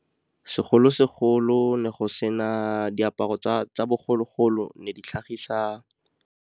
Segolo-segolo diaparo tsa bogologolo ne di tlhagisa.